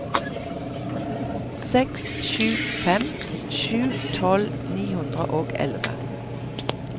seks sju fem sju tolv ni hundre og elleve